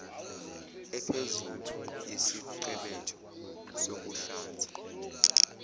ephezulu yesiqebetho sokuhlanza